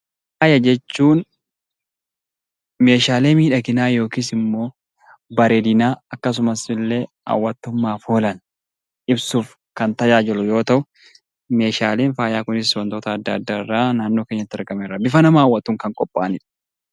Faaya jechuun meeshaalee miidhaginaa yookis immoo bareedinaa akkasumas illee hawwattummaaf oolan ibsuuf kan tajaajilu yoo ta'u meeshaaleen faayaa kunis wantota adda addaarraa naannoo keenyatti argaman irraa bifa nama hawwatuun kan qophaa'anidha.